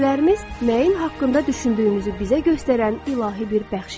Hisslərimiz nəyin haqqında düşündüyümüzü bizə göstərən ilahi bir bəxşişdir.